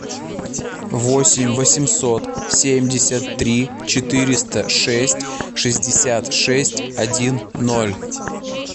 восемь восемьсот семьдесят три четыреста шесть шестьдесят шесть один ноль